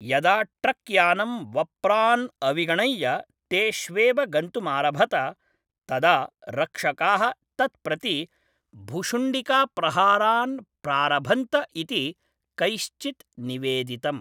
यदा ट्रक्यानं वप्रान् अविगणय्य तेष्वेव गन्तुमारभत तदा रक्षकाः तत् प्रति भुशुण्डिकाप्रहारान् प्रारभन्त इति कैश्चित् निवेदितम्।